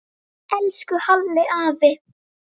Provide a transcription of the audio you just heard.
Elsku Halli afi.